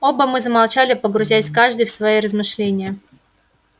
оба мы замолчали погрузясь каждый в свои размышления